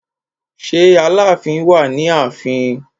Ṣé Aláàfin wà ní ààfin?